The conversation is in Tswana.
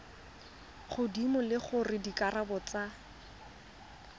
godimo le gore dikarabo tsa